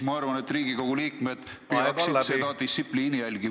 Ma arvan, et ka Riigikogu liikmed peaksid seda distsipliini jälgima.